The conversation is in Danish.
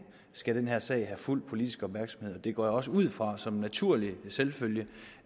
skal den her sag have fuld politisk opmærksomhed det går jeg også ud fra som en naturlig selvfølge